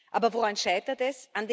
Aber woran scheitert es?